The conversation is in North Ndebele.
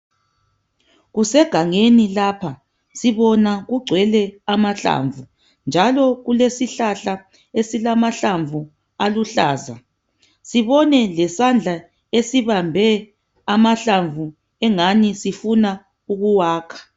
Kusegangeni lapha. Sibona kugcwele amahlamvu njalo kulesihlahla esilamahlamvu aluhlaza. Sibone lesandla esibambe amahlamvu ingani sifuna ukuwakha.